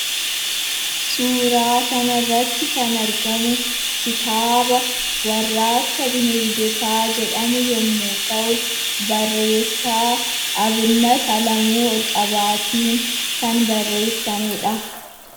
Suuraa kanarratti kan argamu kitaaba warraaqsa bineeldotaa jedhamu yommuu ta'u, barreessaa Abinnat Alamuu Olqabaatiin kan barreeffamedha.